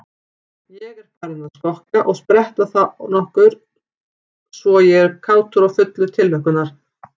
Ég er farinn að skokka og spretta þónokkuð svo ég er kátur og fullur tilhlökkunar.